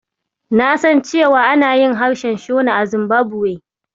Na san cewa ana yin harshen Shona a Zimbabwe.